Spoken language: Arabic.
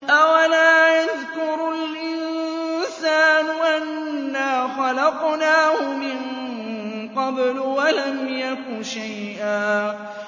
أَوَلَا يَذْكُرُ الْإِنسَانُ أَنَّا خَلَقْنَاهُ مِن قَبْلُ وَلَمْ يَكُ شَيْئًا